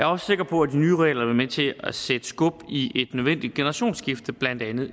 også sikker på at de nye regler vil være med til at sætte skub i et nødvendigt generationsskifte i blandt andet